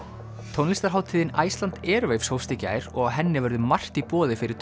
tónlistarhátíðin Iceland Airwaves hófst í gær og á henni verður margt í boði fyrir